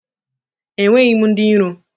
Enweghị m ndị iro